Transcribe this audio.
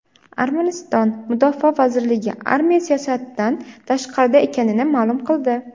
Armaniston Mudofaa vazirligi armiya siyosatdan tashqarida ekanini ma’lum qildi.